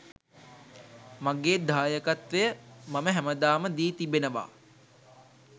මගේ දායකත්වය මම හැමදාම දී තිබෙනවා.